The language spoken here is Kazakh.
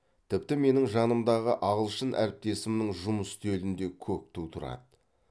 тіпті менің жанымдағы ағылшын әріптесімның жұмыс үстелінде көк ту тұрады